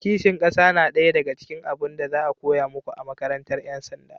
ƙishin ƙasa na daya daga cikin abun da za a koya muku a makarantar 'yan sanda